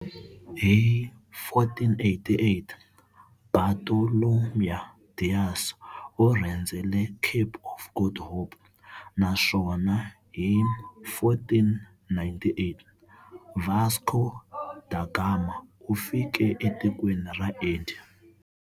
Hi 1488, Bartolomeu Dias u rhendzele Cape of Good Hope, naswona hi 1498 Vasco da Gama u fike e tikweni ra Indiya.